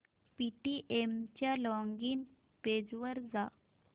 Paytm च्या login page वर जा